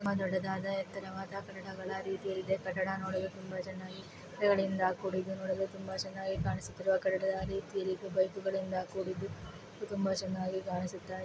ತುಂಬಾ ದೊಡ್ಡದಾದ ಎತ್ತರವಾದ ಕಟ್ಟಡಗಳ ರೀತಿಯಲ್ಲಿ ಇದೆ ಕಟ್ಟಡ ನೋಡಲು ತುಂಬ ಚೆನ್ನಾಗಿ ಕಾಣಿಸುತ್ತದೆ ಗಳಿಂದ ಕೂಡಿದ್ದು ನೋಡಲು ತುಂಬ ಚನ್ನಾಗಿ ಕಾಣಿಸುತ್ತಿರುವ ಕಟ್ಟಡದ ರೀತಿಯಲ್ಲಿ ಬೈಕ್ ಗಳಿಂದ ಕೂಡಿದ್ದು ತುಂಬ ಚೆನ್ನಾಗಿ ಕಾಣಿಸುತ್ತಿದೆ.